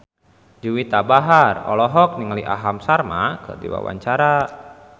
Juwita Bahar olohok ningali Aham Sharma keur diwawancara